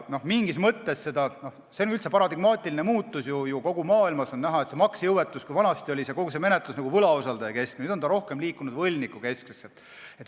See on üldse paradigmaatiline muutus ju, kogu maailmas on näha, et kui maksejõuetuse menetlus oli varem võlausaldajakeskne, siis nüüd on ta muutunud rohkem võlgnikukeskseks.